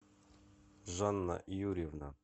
жанна юрьевна